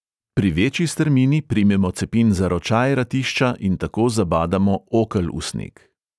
Pri večji strmini primemo cepin za ročaj ratišča in tako zabadamo okel v sneg.